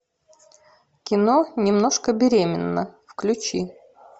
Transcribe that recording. кино немножко беременна включи